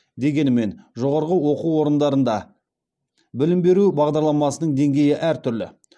дегенмен жоғарғы оқу орындарында білім беру бағдарламасының деңгейі әртүрлі